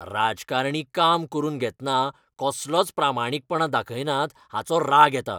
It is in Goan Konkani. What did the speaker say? राजकारणी काम करून घेतना कसलोच प्रामाणिकपणां दाखयनात हाचो राग येता.